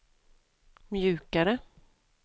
mjukare